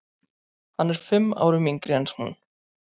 Hann er fimm árum yngri en hún.